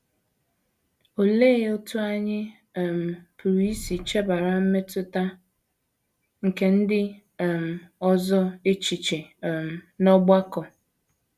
Olee otú anyị um pụrụ isi chebara mmetụta nke ndị um ọzọ echiche um n’ọgbakọ?